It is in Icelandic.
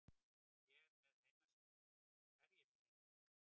Er ég með heimasíðu?